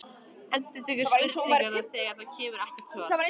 Endurtekur spurninguna þegar það kemur ekkert svar.